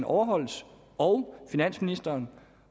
overholdes og finansministeren